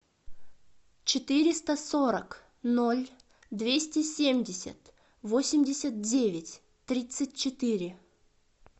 четыреста сорок ноль двести семьдесят восемьдесят девять тридцать четыре